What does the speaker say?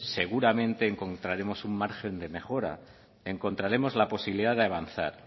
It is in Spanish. seguramente encontraremos un margen de mejora encontraremos la posibilidad de avanzar